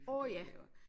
Åh ja